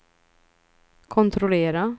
kontrollera